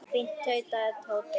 Fínt tautaði Tóti.